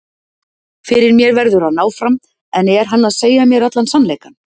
Fyrir mér verður hann áfram, en er hann að segja mér allan sannleikann?